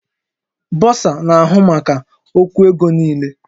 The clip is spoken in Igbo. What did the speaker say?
Bọsa na-ahụ maka okwu ego niile